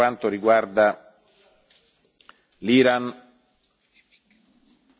dai parlamentari che tutelano, giustamente, le minoranze linguistiche.